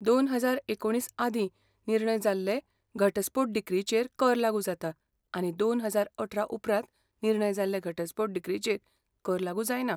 दोन हजार एकुणीस आदीं निर्णय जाल्ले घटस्फोट डिक्रीचेर कर लागू जाता आनी दोन हजार अठरा उपरांत निर्णय जाल्ले घटस्फोट डिक्रीचेर कर लागू जायना